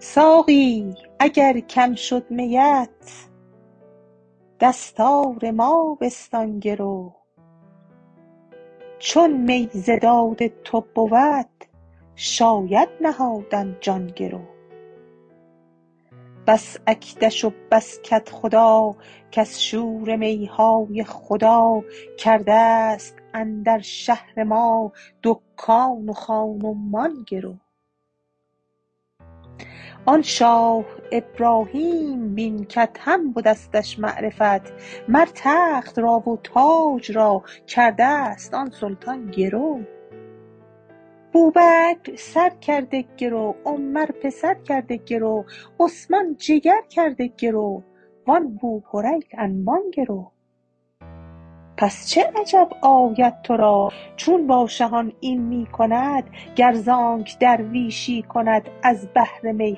ساقی اگر کم شد میت دستار ما بستان گرو چون می ز داد تو بود شاید نهادن جان گرو بس اکدش و بس کدخدا کز شور می های خدا کرده ست اندر شهر ما دکان و خان و مان گرو آن شاه ابراهیم بین کادهم به دستش معرفت مر تخت را و تاج را کرده ست آن سلطان گرو بوبکر سر کرده گرو عمر پسر کرده گرو عثمان جگر کرده گرو و آن بوهریره انبان گرو پس چه عجب آید تو را چون با شهان این می کند گر ز آنک درویشی کند از بهر می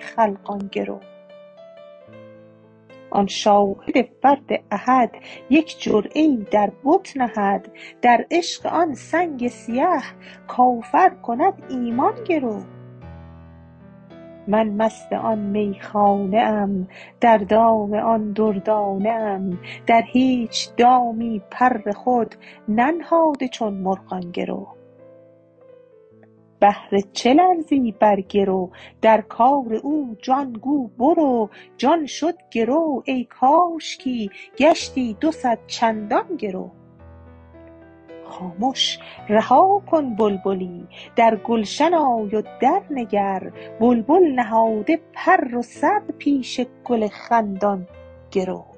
خلقان گرو آن شاهد فرد احد یک جرعه ای در بت نهد در عشق آن سنگ سیه کافر کند ایمان گرو من مست آن میخانه ام در دام آن دردانه ام در هیچ دامی پر خود ننهاده چون مرغان گرو بهر چه لرزی بر گرو در کار او جان گو برو جان شد گرو ای کاشکی گشتی دو صد چندان گرو خامش رها کن بلبلی در گلشن آی و درنگر بلبل نهاده پر و سر پیش گل خندان گرو